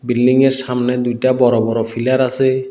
বিল্ডিংয়ের সামনে দুইটা বড় বড় ফিলার আসে।